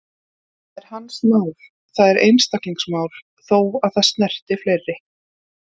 Það er hans mál, það er einstaklingsmál, þó að það snerti fleiri.